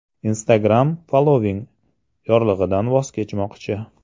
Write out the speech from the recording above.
Instagram following yorlig‘idan voz kechmoqchi.